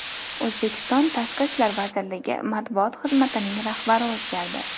O‘zbekiston tashqi ishlar vazirligi matbuot xizmatining rahbari o‘zgardi.